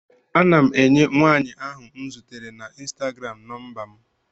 Ana m enye nwaanyị ahụ m zutere na ịnstagram nọmba m.